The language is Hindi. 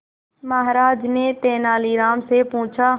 महाराज ने तेनालीराम से पूछा